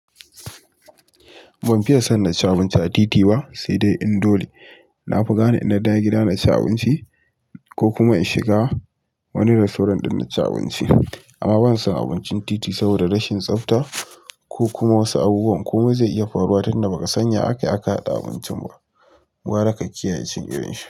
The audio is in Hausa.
Ban fiye son na ci abinci a titi ba, sai dai in dole. Na fi gane in na dawo gida na ci abinci ko kuma in shiga wani rastorant ɗin na ci abinci. Amma ban son abincin titi saboda rashin tsafta ko kuma wasu abubuwan, komai zai iya faruwa tunda ba ka san ya akai aka haɗa abincin ba. Gwara ka kiyaye cin irin shi.